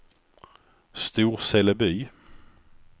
Storseleby